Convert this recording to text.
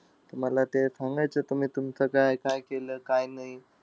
तुम्हाला ते सांगायचं, तुम्ही तुमचं काय-काय केलं, काय नाई.